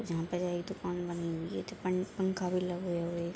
जहाँ पे ये दुकान बनी हुई है दुकान में पंखा भी लगे हुए हैं।